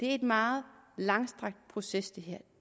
er en meget langstrakt proces det